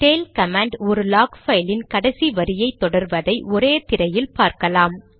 tail command ஒரு log பைலின் கடைசி வரியை தொடர்வதை ஒரே திரையில் பார்க்கலாம்